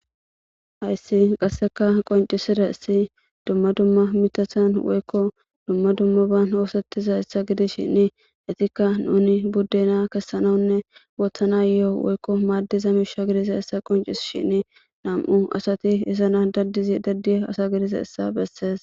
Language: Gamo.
ayssi qasseka qoncisida issi dumma dumma mitathan woykko dumma dummaban oosettiza issa gidi shinni hetikka nuni buddena kessanawunne woothanayoo woykko maaddiza miisha gidisa issa qoncis shinni nam7u asati isana dadizi daddi asa gidisa issa bessees